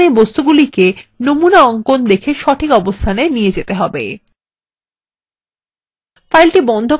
এখন এই বস্তুগুলিকে নমুনা অঙ্কন দেখে সঠিক অবস্থানে নিয়ে যেতে হবে